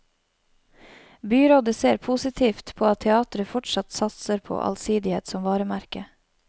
Byrådet ser positivt på at teateret fortsatt satser på allsidighet som varemerke.